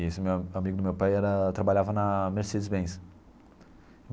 E esse me amigo do meu pai era trabalhava na Mercedes-Benz.